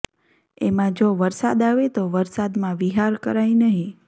એમાં જો વરસાદ આવે તો વરસાદમાં વિહાર કરાય નહીં